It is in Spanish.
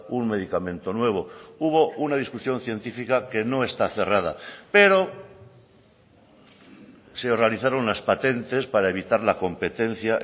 un medicamento nuevo hubo una discusión científica que no está cerrada pero se realizaron unas patentes para evitar la competencia